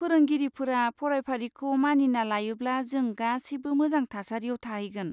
फोरोंगिरिफोरा फरायफारिखौ मानिना लायोब्ला जों गासैबो मोजां थासारियाव थाहैगोन।